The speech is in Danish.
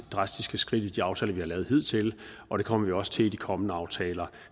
drastiske skridt i de aftaler vi har lavet hidtil og det kommer vi også til i de kommende aftaler